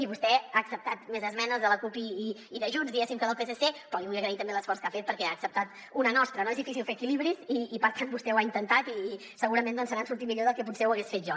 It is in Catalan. i vostè ha acceptat més esmenes de la cup i de junts diguéssim que del psc però li vull agrair també l’esforç que ha fet perquè n’ha acceptat una de nostra no és difícil fer equilibris i per tant vostè ho ha intentat i segurament se n’ha sortit millor del que potser ho hagués fet jo